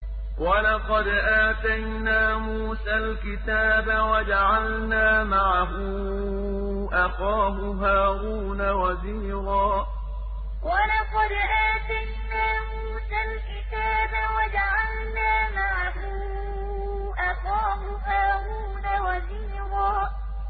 وَلَقَدْ آتَيْنَا مُوسَى الْكِتَابَ وَجَعَلْنَا مَعَهُ أَخَاهُ هَارُونَ وَزِيرًا وَلَقَدْ آتَيْنَا مُوسَى الْكِتَابَ وَجَعَلْنَا مَعَهُ أَخَاهُ هَارُونَ وَزِيرًا